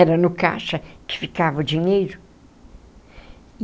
Era no caixa que ficava o dinheiro.